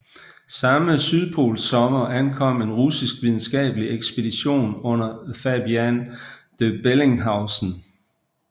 Samme sydpolssommer ankom en russisk videnskabelig ekspedition under Fabian von Bellinghausen